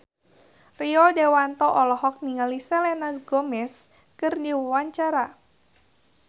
Rio Dewanto olohok ningali Selena Gomez keur diwawancara